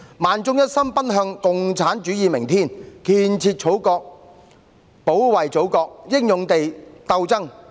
萬眾一心奔向共產主義明天！建設祖國，保衞祖國，英勇地鬥爭！